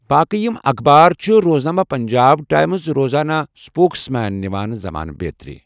باقی یہم اخبار چھِ روزنامہٕ پنجاب ٹایمز ، روزانہٕ سپوكسمین ، نواں زمانہ بیترِ ۔